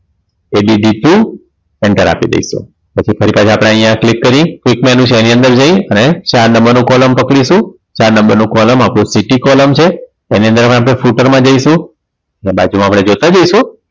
Add two enter આપી દઈશું પછી તરત જ આપણે અહીંયા click કરી click menu છે એની અંદર જઈ અને ચાર number નું column પકડીશું ચાર number નું column આપણું sticky column છે એની અંદર હવે આપણે footer માં જઈશું અને બાજુમાં આપણે જોતા જઈશું